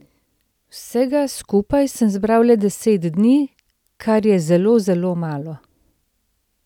Vsega skupaj sem zbral le deset dni, kar je zelo, zelo malo.